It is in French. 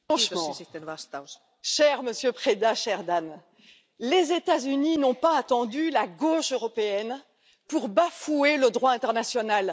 Franchement, cher Monsieur Preda, cher Dan, les États Unis n'ont pas attendu la gauche européenne pour bafouer le droit international.